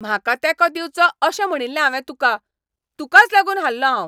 म्हाका तेंको दिवचो अशें म्हणिल्लें हांवें तुका! तुकाच लागून हारलों हांव!